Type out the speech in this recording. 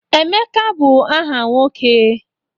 Emeka bụ aha nwoke